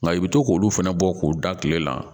Nka i bɛ to k'olu fɛnɛ bɔ k'u da tile la